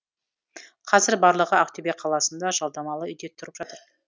қазір барлығы ақтөбе қаласында жалдамалы үйде тұрып жатыр